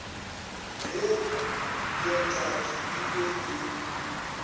ge bjatladi e be e